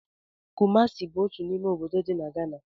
Kumasi bụ otu n'ime obodo dị na Ghana